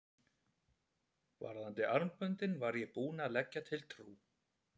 Varðandi armböndin var ég búinn að leggja til Trú